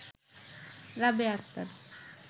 Rabeya Akter